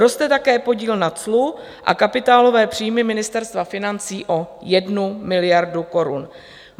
Roste také podíl na clu a kapitálové příjmy Ministerstva financí o 1 miliardu korun.